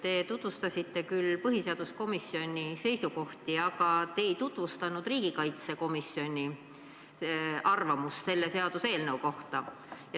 Te tutvustasite küll põhiseaduskomisjoni seisukohti, aga te ei tutvustanud riigikaitsekomisjoni arvamust selle seaduseelnõu kohta.